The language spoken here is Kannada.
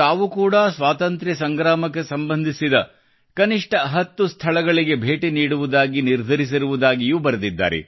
ತಾವು ಕೂಡಾ ಸ್ವಾತಂತ್ರ್ಯ ಸಂಗ್ರಾಮಕ್ಕೆ ಸಂಬಂಧಿಸಿದ ಕನಿಷ್ಠ 10 ಸ್ಥಳಗಳಿಗೆ ಭೇಟಿ ನೀಡುವುದಾಗಿ ನಿರ್ಧರಿಸಿದ್ದಾರೆ ಎಂದು ಬರೆದಿದ್ದಾರೆ